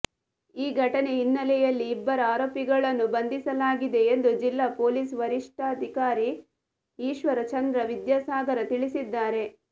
ಈ ಘಟನೆ ಹಿನ್ನಲೆಯಲ್ಲಿ ಇಬ್ಬರ ಆರೋಪಿಗಳನ್ನು ಬಂಧಿಸಲಾಗಿದೆ ಎಂದು ಜಿಲ್ಲಾ ಪೋಲೀಸ ವರಿಷ್ಠಾಧಿಕಾರಿ ಈಶ್ವರ ಚಂದ್ರ ವಿದ್ಯಾಸಾಗರ ತಿಳಿಸಿದ್ದಾರೆ